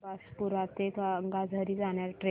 बारबासपुरा ते गंगाझरी जाणारी ट्रेन